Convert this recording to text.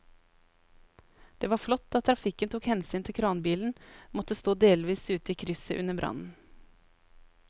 Det var flott at trafikken tok hensyn til at kranbilen måtte stå delvis ute i krysset under brannen.